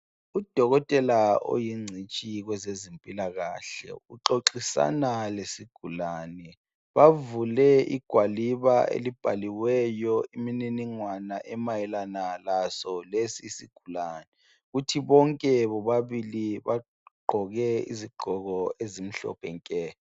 Udokotela oyingcitshi kwezezimpilakahle uxoxisana lesigulane. Bavule igwaliba elibhaliweyo imininingwana emayelana laso lesi isigulane. Kuthi bonke bobabili bagqoke izigqoko ezimhlophe nke.